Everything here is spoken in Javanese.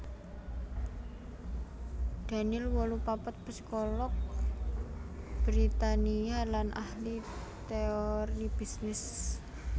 Daniel wolu papat psikolog Britania lan ahli téori bisnis